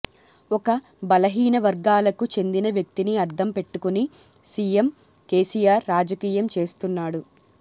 ఒక బలహీన వర్గాలకు చెందిన వ్యక్తిని అద్దం పెట్టుకొని సీఎం కేసీఆర్ రాజకీయం చేస్తున్నాడు